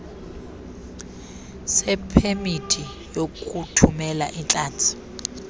sepemithi yokuthumela iintlanzi